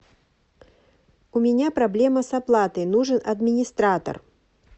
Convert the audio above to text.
у меня проблема с оплатой нужен администратор